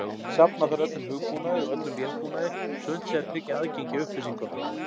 Safna þarf öllum hugbúnaði og öllum vélbúnaði svo unnt sé að tryggja aðgengi að upplýsingunum.